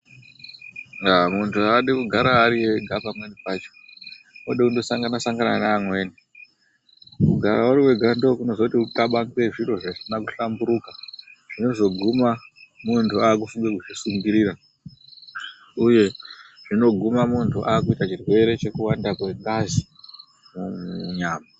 Munhu haadi kugara ari ega pamweni pacho. Unode kundosangana sangana neamweni. Mukugara uri wega ndokunozoti uxabange zviro zvisina kuhlamburika zvinozoguma muntu akufunga kuzvisungirira uye zvinoguma muntu akuita chirwere chekuwanda kwengazi munyama